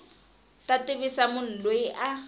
ta tivisa munhu loyi a